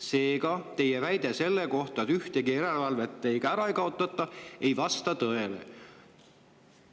Seega teie väide selle kohta, et ühtegi järelevalvet ära ei kaotata, ei vasta tõele.